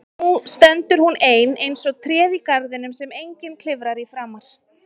Nú stendur hún ein eins og tréð í garðinum sem enginn klifrar í framar.